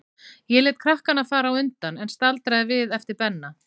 Ég lét krakkana fara á undan, en staldraði við eftir Benna.